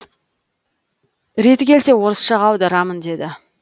реті келсе орысшаға аударамын деді